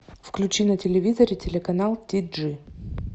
включи на телевизоре телеканал ти джи